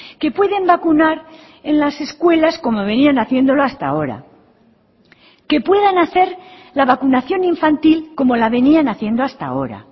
que pueden vacunar en las escuelas como venían haciéndolo hasta ahora que puedan hacer la vacunación infantil como la venían haciendo hasta ahora